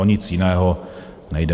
O nic jiného nejde.